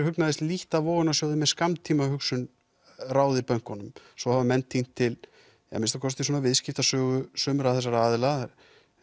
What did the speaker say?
hugnaðist lítt að vogunarsjóðir með skammtímahugsun ráði bönkunum og svo hafa menn týnt til að minnsta kosti svona viðskiptasögu sumra þessara aðila